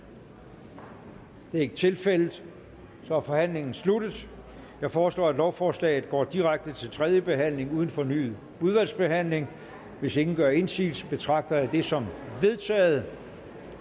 det er ikke tilfældet så er forhandlingen sluttet jeg foreslår at lovforslaget går direkte til tredje behandling uden fornyet udvalgsbehandling hvis ingen gør indsigelse betragter jeg det som vedtaget